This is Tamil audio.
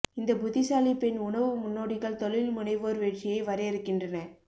இந்த புத்திசாலி பெண் உணவு முன்னோடிகள் தொழில் முனைவோர் வெற்றியை வரையறுக்கின்றன